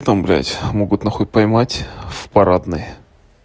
там блядь могут на хуй поймать в парадной